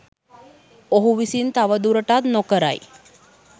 ඔහු විසින් තවදුරටත් නොකරයි